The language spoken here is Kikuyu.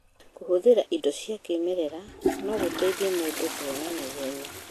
Kũhũthĩra indo cia kĩmerera no gũteithie mũndũ kũhona na ihenya.